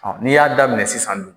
N'i y'a daminɛ sisan bi